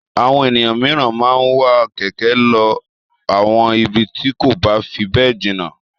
Àwọn ènìyàn mìíràn máa ń wa kẹ̀kẹ́ lọ àwọn ibi tí kò bá fi bẹ́ẹ̀ jìnà.